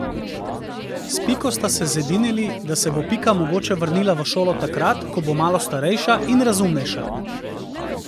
S Piko sta se zedinili, da se bo Pika mogoče vrnila v šolo takrat, ko bo malo starejša in razumnejša.